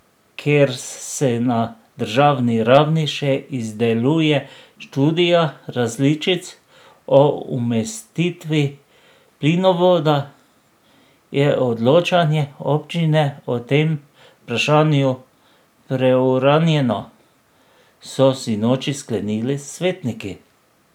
Ker se na državni ravni še izdeluje študija različic o umestitvi plinovoda, je odločanje občine o tem vprašanju preuranjeno, so sinoči sklenili svetniki.